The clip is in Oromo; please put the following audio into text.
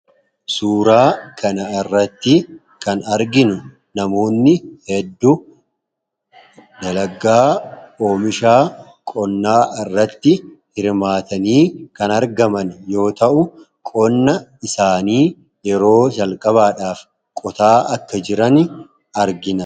suuraa kana irratti kan arginu namoonni hedduu nalagaa oomishaa qonnaa irratti hirmaatanii kan argaman yoo ta'u qonna isaanii yeroo jalqabaadhaaf qotaa akka jiran argina